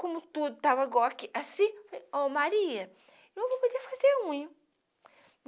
Como tudo estava igual aqui, assim, ó, Maria, eu vou poder fazer unha.